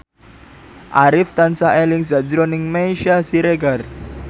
Arif tansah eling sakjroning Meisya Siregar